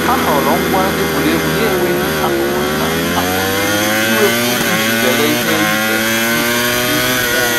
Ha họọrọ ngwa egwuregwu na-enweghị akụkụ nta a pụrụ iwepu iji zere ihe ize ndụ nke igbu mmụọ